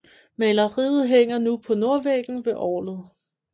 Maleriet hænger nu på nordvæggen ved orgelet